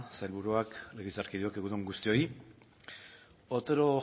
sailburuak legebiltzarkideok egun on guztioi otero